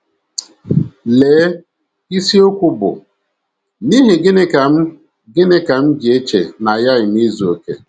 Lee isiokwu bụ́ “ N’ihi Gịnị Ka M Gịnị Ka M Ji Eche na Aghaghị M Izu Okè? ”